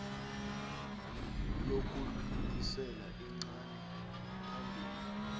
lokudlulisela icala phambili